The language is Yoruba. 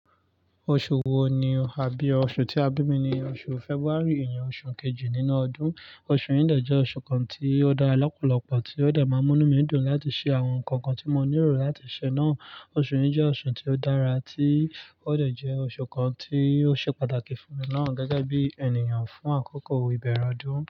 Oṣù wo ni o, àbí oṣù tí a bí mi ni oṣù February, ìyẹn oṣù kejì nínú ọdún. Oṣù yìí dà jẹ́ oṣù kan tí ó dára lọ́pọ̀lọ́pọ̀, tí ó dà máa mú ní mìdún láti ṣe àwọn nǹkan kan tí mo ní ìró láti ṣe náà. Oṣù yìí jẹ́ oṣù tí ó dára, tí ó dà jẹ́ oṣù kan tí ó ṣe pàtàkì fún mi náà gẹ́gẹ́ bí ènìyàn fún àkókò ìbẹ̀rẹ̀ ọdún.